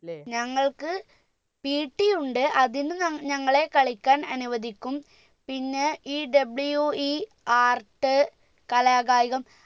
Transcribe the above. ഞങ്ങൾക്ക് PT യുണ്ട് അതിന് നം ഞങ്ങളെ കളിക്കാൻ അനുവദിക്കും പിന്നെ ഈ WE art കലാ കായികം